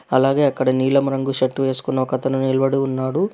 అలాగే అక్కడ నీలం రంగు షర్టు వేసుకున్న ఒక అతను నిలబడి ఉన్నాడు.